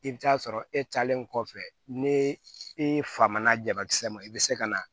I bɛ taa sɔrɔ e talen kɔfɛ ne fa na jabakisɛ ma i bɛ se ka na